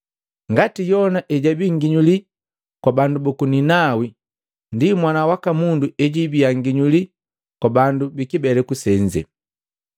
Ngati Yona ejabi nginyuli kwa bandu buku Ninawi, ndi Mwana waka Mundu ejibiya nginyuli kwa bandu bikibeleku senze.